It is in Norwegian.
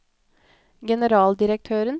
generaldirektøren